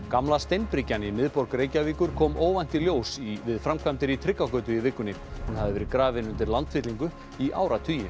gamla steinbryggjan í miðborg Reykjavíkur kom óvænt í ljós við framkvæmdir í Tryggvagötu í vikunni hún hafði verið grafin undir landfyllingu í áratugi